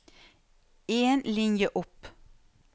En linje opp